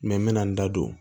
n bɛ na n da don